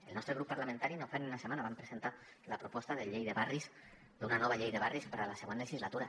el nostre grup parlamentari no fa ni una setmana vam presentar la proposta d’una nova llei de barris per a la següent legislatura